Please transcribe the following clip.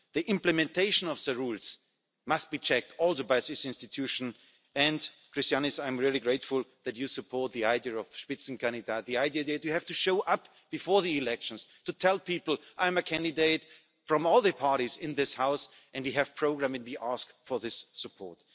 The implementation of the rules must be checked also by this institution, and Krišjānis, I'm really grateful that you support the idea of the Spitzenkandidat the idea that you have to show up before the elections to tell people, I'm a candidate from all the parties in this House, and we have programmes and we ask for this support'.